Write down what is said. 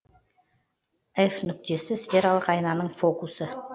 ғ нүктесі сфералық айнаның фокусы